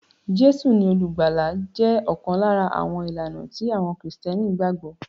Jésù ni olùgbàlà jẹ́ ọ̀kan lára àwọn ìlànà tí àwọn Kristẹni gbàgbọ́